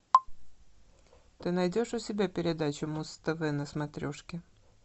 ты найдешь у себя передачу муз тв на смотрешке